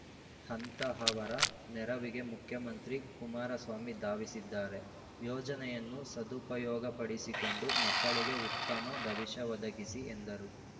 ಅಂಥಹವರ ನೆರವಿಗೆ ಮುಖ್ಯಮಂತ್ರಿ ಕುಮಾರಸ್ವಾಮಿ ಧಾವಿಸಿದ್ದಾರೆ ಯೋಜನೆಯನ್ನು ಸದುಪಯೋಗಪಡಿಸಿಕೊಂಡು ಮಕ್ಕಳಿಗೆ ಉತ್ತಮ ಭವಿಷ್ಯ ಒದಗಿಸಿ ಎಂದರು